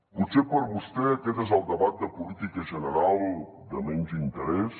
potser per a vostè aquest és el debat de política general de menys interès